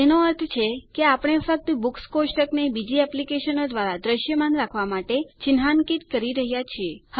એનો અર્થ છે કે આપણે ફક્ત બુક્સ કોષ્ટકને બીજી એપ્લીકેશનો દ્વારા દ્રશ્યમાન રાખવા માટે ચીન્હાન્કિત કરી રહ્યા છીએ